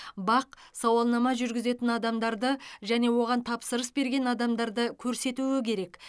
бақ сауалнама жүргізетін адамдарды және оған тапсырыс берген адамдарды көрсетуі керек